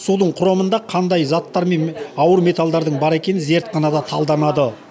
судың құрамында қандай заттар мен ауыл металдардың бар екені зертханада талданады